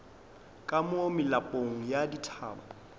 ka mo melapong ya dithaba